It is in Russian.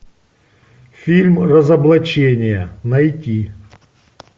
фильм разоблачение найти